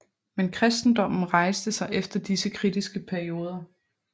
Men kristendommen rejste sig efter disse kritiske perioder